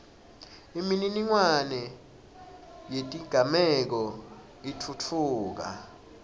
imininingwane yetigameko itfutfuka